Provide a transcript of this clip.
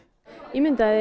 ímyndaðu þér